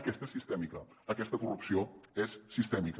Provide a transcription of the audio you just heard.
aquesta és sistèmica aquesta corrupció és sistèmica